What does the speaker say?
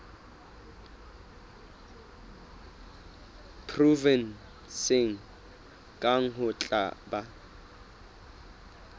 provenseng kang ho tla ba